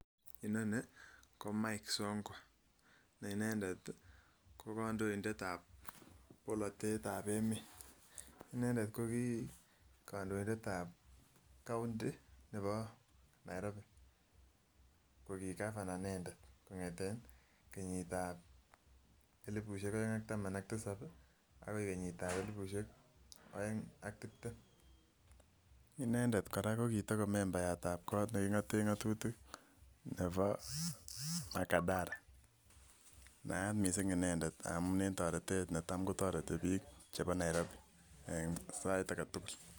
Inonii ko MIKE SONKO ne inendet ko kondoindet ab polotete ab emet, inendet koki kondoindet ab county nebo Nairobi ko kii gavana inendet en kenyit ab elipusyek oeng ak taban ak tisab agoi kenyit ab elipusyek oeng ak tibtem. Inendet koraa ko kii tako membayat ab kot nekingoten ngotutik nebo makadara naat missing inendet amun en toretet netom kotoretii bik chebo Nairobi en sait agetugul